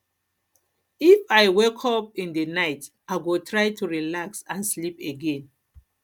if i wake if i wake up in the night i go try to relax and sleep again